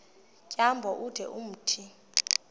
tyambo ude umthi